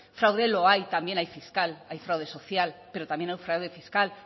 fraude lo hay también hay fiscal hay fraude social pero también hay fraude fiscal